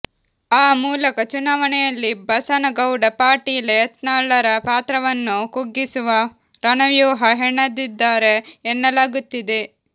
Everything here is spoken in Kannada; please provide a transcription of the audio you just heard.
ಆ ಮೂಲಕ ಚುನಾವಣೆಯಲ್ಲಿ ಬಸನಗೌಡ ಪಾಟೀಲ ಯತ್ನಾಳರ ಪಾತ್ರವನ್ನೂ ಕುಗ್ಗಿಸುವ ರಣವ್ಯೂಹ ಹೆಣದಿದ್ದಾರೆ ಎನ್ನಲಾಗುತ್ತಿದೆ